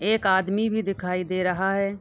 एक आदमी भी दिखाई दे रहा है।